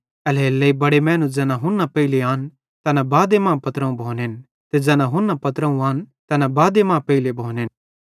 एल्हेरेलेइ बड़े मैनू ज़ैना हुन्ना पेइले आन तैना बादे मां पत्रोवं भोनेन ते ज़ैना हुन्ना पत्रोवं आन तैना बादे मां पेइले भोनेन